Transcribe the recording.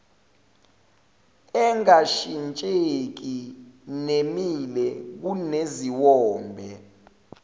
engashintsheki nemile kuneziwombe